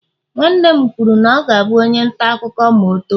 nwanne m kwuru na ọ ga-abụ onye nta akụkọ ma o too